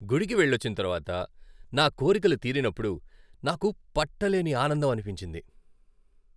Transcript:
గుడికి వెళ్ళొచ్చిన తర్వాత నా కోరికలు తీరినప్పుడు నాకు పట్టలేని ఆనందం అనిపించింది.